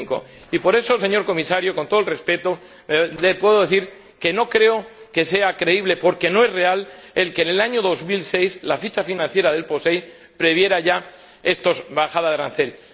75. Por eso, señor Comisario, con todo el respeto, le puedo decir que no creo que sea creíble, porque no es real, que en el año 2006 la ficha financiera del POSEI previera ya esta bajada de aranceles.